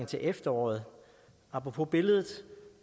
til efteråret apropos billedet